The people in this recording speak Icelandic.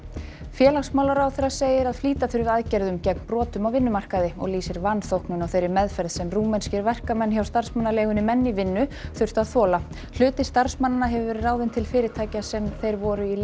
félagsmálaráðherra segir að flýta þurfi aðgerðum gegn brotum á vinnumarkaði og lýsir vanþóknun á þeirri meðferð sem rúmenskir verkamenn hjá starfsmannaleigunni menn í vinnu þurftu að þola hluti starfsmannanna hefur verið ráðinn til fyrirtækja sem þeir voru í